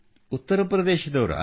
ಉತ್ತರ ಪ್ರದೇಶದವರಾ